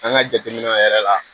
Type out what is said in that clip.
An ka jateminɛw yɛrɛ la